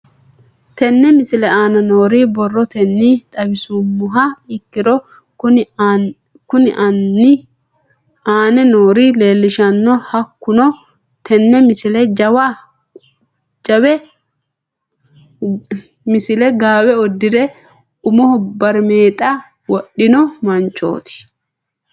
Tenne misile aana noore borrotenni xawisummoha ikirro kunni aane noore leelishano. Hakunno tinni misile gaawe udirre umoho barimeexxa wodhino manchoti.